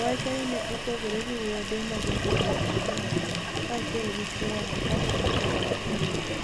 wacho nii ni e opogre gi wuode ma jahignii anig'weni kaachiel gi chwore kani e otemo rinigo.